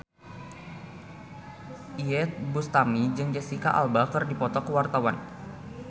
Iyeth Bustami jeung Jesicca Alba keur dipoto ku wartawan